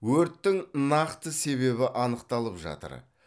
өрттің нақты себебі анықталып жатыр